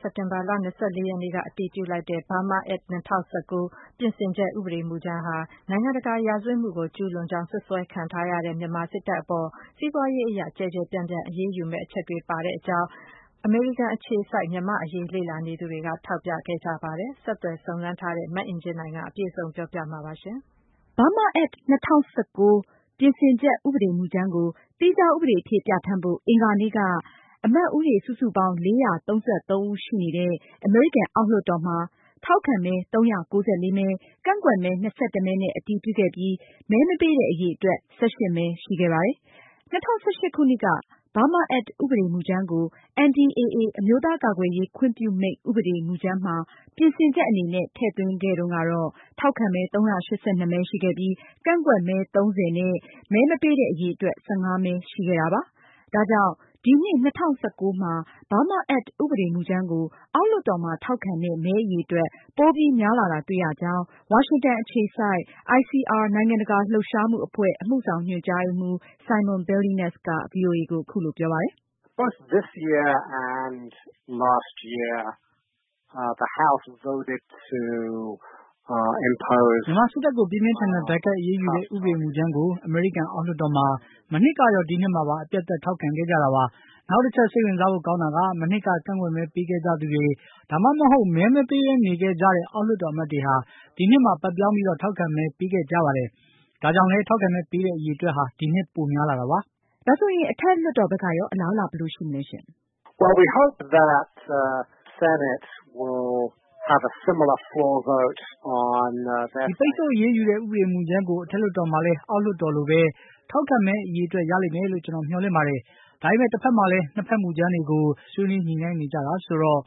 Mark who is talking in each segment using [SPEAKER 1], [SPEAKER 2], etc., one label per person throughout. [SPEAKER 1] စက်တင်ဘာလ ၂၄ ရက်နေ့က အတည်ပြုလိုက်တဲ့ BURMA Act ၂၀၁၉ ပြင်ဆင်ချက် ဥပဒေမူ ကြမ်းဟာ နိုင်ငံတကာရာဇဝတ်မှုကို ကျူးလွန် ကြောင်း စွပ်စွဲခံထားရတဲ့ မြန်မာစစ်တပ်အပေါ် စီးပွားရေးအရ ကျယ်ကျယ်ပြန့်ပြန့် အရေးယူဒဏ်ခတ်မယ့် အချက်တွေ ပါဝင်နေကြောင်း အမေရိကန်အခြေစိုက် မြန်မာ့အရေးလေ့လာနေသူတွေက ထောက်ပြခဲ့ကြပါတယ်။ ဆက်သွယ် စုံစမ်း မေးမြန်းထားတဲ့ မအင်ကြင်းနိုင်ကအပြည့်အစုံ တင်ပြမှာပါ။
[SPEAKER 2] BURMA Act ၂၀၁၉ ပြင်ဆင်ချက် ဥပဒေမူကြမ်းကို သီးခြားဥပဒေဖြစ် ပြဌာန်းဖို့ အင်္ဂါနေ့က အမတ်ဦးရေ စုစုပေါင်း ၄၃၃ ဦးရှိတဲ့ အမေရိကန်အောက် လွှတ်တော်မှာ ထောက်ခဲမဲ ၃၉၄မဲ၊ ကန့်ကွက်မဲ ၂၁ မဲနဲ့ အတည်ပြုခဲ့ပြီး မဲမပေးတဲ့ အရေအတွက် ၁၈ မဲရှိခဲ့ပါတယ်။ ၂၀၁၈ခုနှစ်က BURMA Act ဥပဒေမူကြမ်းကို NDAA အမျိုးသားကာကွယ်ရေး ခွင့်ပြုမိန့် ဥပဒေမူကြမ်းမှာ ပြင်ဆင်ချက်အနေနဲ့ ထည့်သွင်းခဲ့တုန်းက ထောက်ခံမဲ ၃၈၂ မဲ ရှိခဲ့ပြီး ကန့်ကွက်မဲ ၃၀ နဲ့ မဲမပေးတဲ့ အရေအတွက် ၁၅ မဲ ရှိခဲ့ပါတယ်။ ဒါကြောင့် ဒီနှစ် ၂၀၁၉မှာ BURMA Act ဥပဒေမူကြမ်းကို အောက်လွှတ်တော်မှာ ထောက်ခံတဲ့ မဲအရေအတွက် ပိုပြီးများလာတာတွေ့ရကြောင်း ဝါရှင်တန် အခြေစိုက် ICR နိုင်ငံတကာလှုပ်ရှားမှုအဖွဲ့ အမှုဆောင်ညွှန်ကြားရေးမှူး Simon Billenness က ဗွီအိုအေကို အခုလို ပြောပါတယ်။ “ မ
[SPEAKER 3] ြန်မာစစ်တ
[SPEAKER 4] ပ်ကို ပြင်းပြင်းထန်ထန် ဒဏ်ခတ်အရေးယူတဲ့ ဥပဒေမူကြမ်းကို အမေရိကန်အောက် လွှတ်တော်မှာ မနှစ်ကရော၊ ဒီနှစ်မှာပါ အပြတ်အသတ် ထောက်ခံခဲ့ကြတာပါ။ နောက်တချက် စိတ်ဝင်စားဖို့ ကောင်းတာက မနှစ်က ကန့်ကွက်မဲ ပေးခဲ့ကြသူတွေ ဒါမှမဟုတ် မဲမပေးပဲ နေခဲ့ကြတဲ့ အောက်လွှတ်တော်အမတ်တွေဟာ ဒီနှစ်မှာ ဘက်ပြောင်းပြီး ထောက်ခံမဲ ပေးခဲ့ကြတာပါ။ ဒါကြောင့်လည်း ထောက်ခံမဲပေးတဲ့ အရေအတွက်ဟာ ဒီနှစ်မှာ ပိုပြီး များလာပါတယ်။” မအင်ကြင်းနိုင် ။ ။ ဒါဆိုရင် အထက်လွှတ်တော် ဘက်ကရော အလားအလာ ဘယ်လိုရှိမလဲ။ Simon
[SPEAKER 3] Billenness ။ ။ ဒီပိတ်ဆို့အ
[SPEAKER 4] ရေးယူတဲ့ ဥပဒေမူကြမ်းကို အထက်လွှတ်တော် မှာလည်း အောက်လွှတ်တော်လိုပဲ ထောက်ခံမဲအရေအတွက် ရလိမ့်မယ်လို့ ကျနော်မျှော်လင့်ပါတယ်။ ဒါပေမယ့် တဖက်မှာလည်း နှစ်ဖက် မူကြမ်းတွေကို ဆွေးနွေးညှိုနှိုင်းနေကြတာဆိုတော့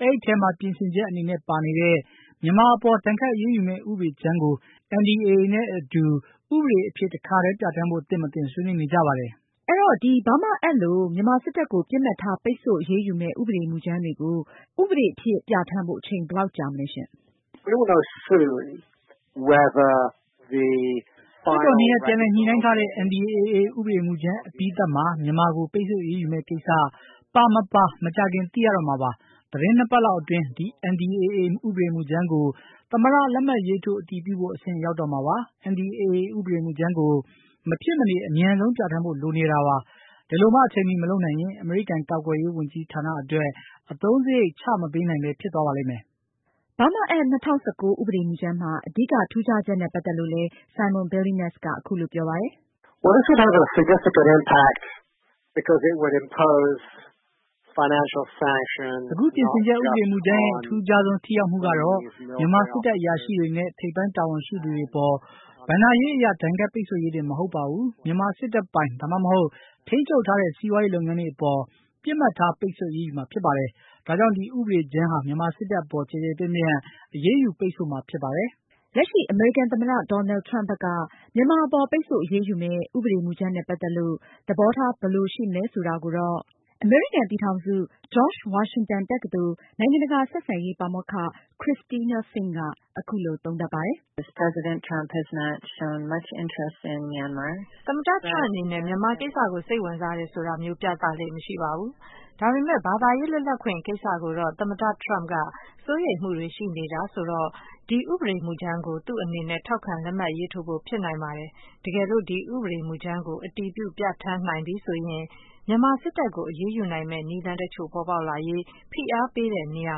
[SPEAKER 4] အဲဒီထဲမှာ ပြင်ဆင်ချက်အနေနဲ့ ပါနေတဲ့ မြန်မာအပေါ် ဒဏ်ခတ်အရေးယူမယ့် ဥပဒေမူကြမ်းကို NDAA နဲ့အတူ ဥပဒေအဖြစ်တခါတည်း ပြဌာန်းဖို့သင့်မသင့် ဆွေးနွေးနေကြပါတယ်။ မအင်ကြင်းနိုင်။ ။ အဲတော့ ဒီ BURMA Act လို မြန်မာစစ်တပ်ကို ပစ်မှတ်ထား ပိတ်ဆို့အရေးယူမယ့် ဥပဒေမူကြမ်းတွေကို ဥပ
[SPEAKER 2] ဒေအဖြစ် ပြဌာန်းဖို့ အချိန်ဘယ်လောက်ကြမလဲ။ Simon Billenness
[SPEAKER 3] ။ ။ လွှတ်တော်နှစ်ရပ် ပြန်လည်ည
[SPEAKER 4] ှိုနှိုင်းထားတဲ့ NDAA ဥပဒေမူကြမ်းအပြီးသတ် မှာ မြန်မာကို ပိတ်ဆို့အရေးယူမယ့် ကိစ္စပါမပါ မကြာခင်သိရတော့မှာပါ။ သတင်းနှစ်ပတ်လောက်အတွင်း ဒီ NDAA ဥပဒေမူကြမ်းကို သမ္မတ လက်မှတ်ရေးထိုး အတည်ပြုဖို့ အဆင့်ရောက်တော့မှာပါ။ NDAA ဥပဒေမူကြမ်းကို မဖြစ်မနေ အမြန်ဆုံးပြဌာန်းဖို့ လိုနေတာပါ။ ဒီလိုမှ အချိန်မှီ မလုပ်နိုင်ရင် အမေရိကန်ကာကွယ်ရေး ဝန်ကြီးဌာနအတွက် အသုံးစရိတ်မချ ပေးနိုင်ပဲ ဖြစ်သွားပါလိမ့်မယ်။ BURMA Act ၂၀၁၉ ဥပဒေမူကြမ်းမှာ အဓိက ထူးခြားချက်နဲ့
[SPEAKER 2] ပတ်သက်လို့လည်း Simon Billenness ကအခုလို ပြောပါတယ်။
[SPEAKER 3] “ အခု ပြင်ဆင်ချက် ဥပဒေမူကြမ်းရဲ့ အထူ
[SPEAKER 4] းခြားဆုံး ထိရောက်မှုကတော့ မြန်မာစစ်တပ်အရာရှိတွေနဲ့ ထိပ်ပိုင်း တာဝန်ရှိသူတွေအပေါ် ဘဏ္ဍာရေးအရ ဒဏ်ခတ်ပိတ်ဆို့ရေးတင် မဟုတ်ပါဘူး၊ မြန်မာစစ်တပ်ပိုင် ဒါမှမဟုတ် ထိန်းချုပ်ထားတဲ့ စီးပွားရေးလုပ်ငန်းတွေ အပေါ် ပစ်မှတ်ထား ပိတ်ဆို့အရေးယူမှာဖြစ်ပါတယ်။ ဒါကြောင့် ဒီဥပဒေကြမ်းဟာ မြန်မာစစ်တပ်အပေါ် ကျယ်ကျယ်ပြန့်ပြန့် အရေးယူပိတ်ဆို့မှာ ဖြစ်ပါတယ်။ ” လက်ရှိ အမေရိကန်သမ္မ
[SPEAKER 2] တ Donald Trump ဘက်ကရော မြန်မာအပေါ် ပိတ်ဆို့အရေးယူမယ့် ဥပဒေမူကြမ်းနဲ့ ပတ်သက်လို့ သဘောထား ဘယ်လို ရှိမလဲဆိုတာကိုတော့ အမေရိကန် ပြည်ထောင်စု George Washington တက္ကသိုလ် နိုင်င
[SPEAKER 1] ံတကာ ဆက်ဆံရေး ပါမောက္ခ Christina Fink က အခုလို သုံးသပ်ပါတယ်။ “ သမ္မတ Trump အနေနဲ့ မြန်မာကိစ္စကို စိတ်ဝင်စားတယ်ဆိုတာမျိုး ပြသလေ့မရှိပါဘူး။ ဒါပေမဲ့ ဘာသာရေးလွတ်လပ်ခွင့်ကိစ္စကိုတော့ သမ္မတ Trump က စိုးရိမ်မှုတွေရှိနေတာဆိုတော့ ဒီဥပဒေမူကြမ်းကို သူအနေနဲ့ ထောက်ခံ လက်မှတ်ရေးထိုးဖို့ ဖြစ်နိုင်ပါတယ်။ တကယ်လို့ ဒီဥပဒေမူကြမ်းကို အတည်ပြုပြဌာန်းနိုင်ပြီဆိုရင် မြန်မာစစ်တပ်ကို အရေးယူမယ့် နည်းလမ်းတချို့ပေါ်ပေါက်လာရေး ဖိအားပေးတဲ့နေရာ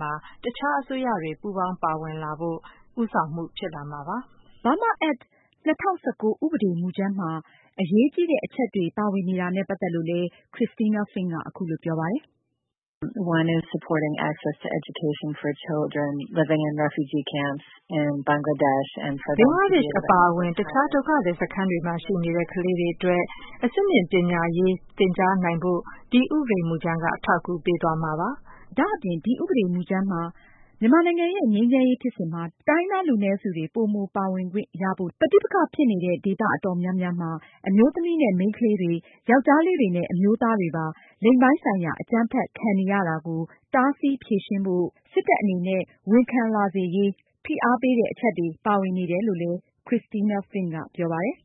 [SPEAKER 1] မှာ အခြားအစိုးရတွေ ပူးပေါင်းပါဝင်လာဖို့ အတွက် ဦးဆောင်မှု ဖြစ်လာမှာပါ။ ” Burma ACT 2019 ဥ
[SPEAKER 2] ပဒေ မူကြမ်းမှာ အရေကြီးတဲ့အချက်တွေ ပါဝင်နေတာနဲ့ ပတ်သက်ပြီးလည်း Christina Fink က အခုလို ပြောပါတယ်။ “ ဘင်္ဂလားဒေ့ရှ်အပါအဝင် အခြား
[SPEAKER 1] ဒုက္ခသည်စခန်းတွေမှာရှိနေတဲ့ ကလေးတွေအတွက် အဆင့်မြင့်ပညာရေးတွေ သင်ကြားနိုင်ဖို့ ဒီဥပဒေကြမ်းက အထောက်အကူပေး သွားမှာပါ။ ” ဒါ့အပြင် ဒီဥပဒေ မူ
[SPEAKER 2] ကြမ်းမှာ မြန်မာနိုင်ငံရဲ့ ငြိမ်းချမ်းရေးဖြစ်စဉ်မှာ တိုင်းရင်းသားလူနည်းစုတွေ ပိုမိုပါဝင်ခွင့်ရဖို့၊ ပဋိပက္ခ ဖြစ်နေတဲ့ ဒေသ အတော်များများမှာ အမျိုးသမီးနဲ့ မိန်းကလေးတွေ၊ ယောက်ျားလေးတွေနဲ့ အမျိုးသားတွေပါ လိင်ပိုင်းဆိုင်ရာ အကြမ်းဖက် ခံနေရတာကို တားဆီး ဖြေရှင်းဖို့ စစ်တပ် အနေနဲ့ ဝန်ခံလာစေရေး ဖိအားပေးတဲ့ အချက်တွေ ပါဝင်နေတယ်လို့လည်း Christina Fink က ပြောပါတယ်